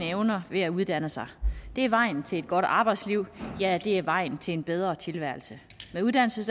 evner ved at uddanne sig det er vejen til et godt arbejdsliv ja det er vejen til en bedre tilværelse med uddannelse